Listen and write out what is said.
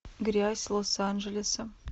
грязь лос анджелеса